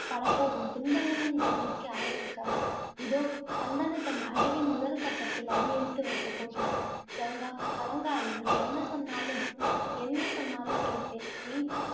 படப்போகும் துன்பங்களின் எல்லைக்கு அளவிருக்காது. இதோ சந்தனு தன் அழிவின் முதல் கட்டத்தில் அடியெடுத்து வைக்கப்போகிறான். கங்கா கலங்காதே, நீ என்ன சொன்னாலும் என்ன சொன்னாலும் கேட்பேன். நீ